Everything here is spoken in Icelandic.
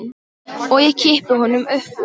Og ég kippi honum upp úr.